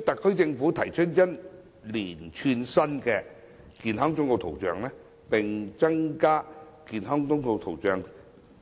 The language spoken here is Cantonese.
特區政府提出一套新的健康忠告圖像，並增加健康忠告圖像